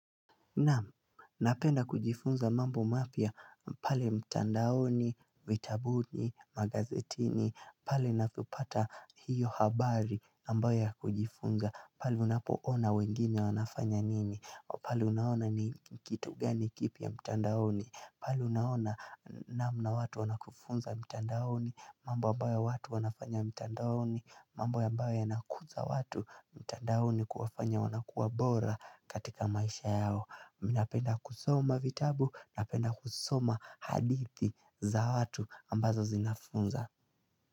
Naam, napenda kujifunza mambo mapya, pale mtandaoni, vitabuni, magazetini, pale ninapopata hiyo habari ambayo ya kujifunza pale unapo hona wengine wanafanya nini, pale unaona ni kitu gani kipya mtandaoni pale unaona namna watu wanakufunza mtandaoni, mambo ambayo watu wanafanya mtandaoni, mambo ambayo yanakuza watu mtandaoni kuwafanya wanakuwa bora katika maisha yao Mimi napenda kusoma vitabu, napenda kusoma hadithi za watu ambazo zinafunza.